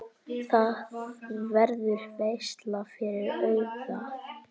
Það verður veisla fyrir augað.